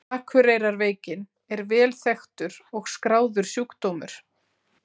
Akureyrarveikin er vel þekktur og skráður sjúkdómur.